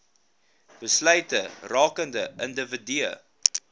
besluite rakende individue